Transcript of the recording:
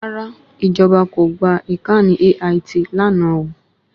Rárá, ìjọ̀ba kò gba ìkànnì AIT lánàá o